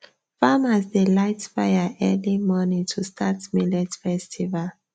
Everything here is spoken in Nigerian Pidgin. farmers dey light fire early morning to start millet festival